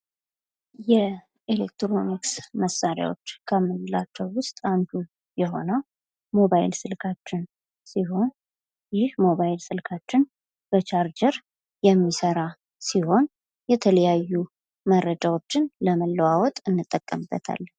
የኤሌክትሮኒክስ እቃዎች ከምንላቸው ውስጥ አንዱ የሆነው ሞባይል ስልካችን ሲሆን ይህ ሞባይል ስልካችን በቻርጀር የሚሰራ ሲሆን የተለያዩ መረጃዎችን ለመለዋወጥ እንጠቀምበታለን።